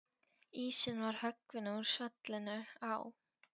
Ísinn var höggvinn úr svellinu á